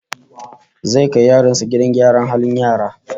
Zai kai yaronsa gidan gidan gyaran halin yara